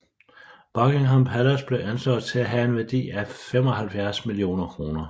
Beckingham Palace blev anslået til at have en værdi af 75 millioner kroner